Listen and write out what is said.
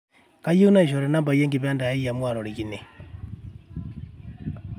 kaayieu naishori nambai enkipande aai amu atorikine